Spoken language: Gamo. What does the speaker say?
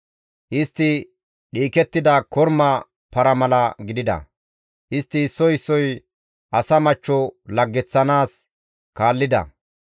Istti dhiikettida korma para mala gidida; istti issoy issoy asa machcho laggeththanaas kaallida.